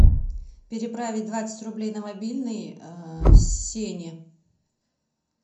переправить двадцать рублей на мобильный сене